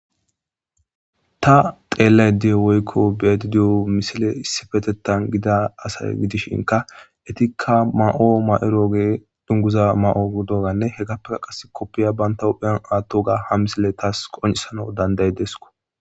ta xeellay deyo woykko beedi diyo misile issifetettan gida asay gidishinka etikka ma7o ma7ero gee dunguza ma7o doganne hegappega qas koppiya baynta hupheyan aatto ga ha misile taas qoncisana danday desko